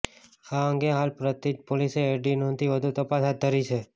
આ અંગે હાલ પ્રાંતિજ પોલીસે એડી નોંધી વધુ તપાસ હાથ ધરી છે